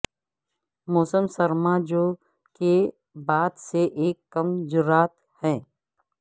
موسم سرما جو کے بعد سے ایک کم جرات ہے